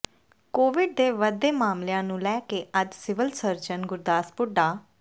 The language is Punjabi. ਕੋਵਿਡ ਦੇ ਵਧਦੇ ਮਾਮਲਿਆਂ ਨੂੰ ਲੈ ਕੇ ਅੱਜ ਸਿਵਲ ਸਰਜਨ ਗੁਰਦਾਸਪੁਰ ਡਾ